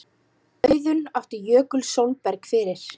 Auðunn átti Jökul Sólberg fyrir.